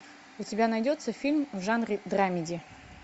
у тебя найдется фильм в жанре драмеди